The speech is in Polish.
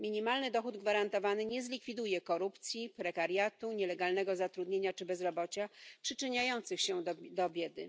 Minimalny dochód gwarantowany nie zlikwiduje korupcji, prekariatu, nielegalnego zatrudnienia czy bezrobocia przyczyniających się do biedy.